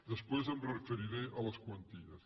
després em referiré a les quanties